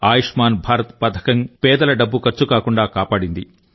ఆయుష్మాన్ భారత్ పథకం పేదల డబ్బు ఖర్చు కాకుండా కాపాడింది